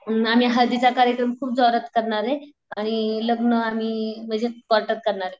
आम्ही हळदीचा कार्यक्रम खूप जोरात करणारे आणि लग्न आम्ही म्हणजे कोर्टात करणारे.